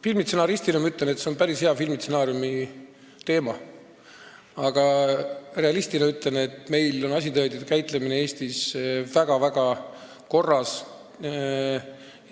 Filmistsenaristina ma ütlen, et see oleks päris hea filmistsenaariumi teema, aga realistina ütlen, et meil on asitõendite käitlemine Eestis väga-väga korras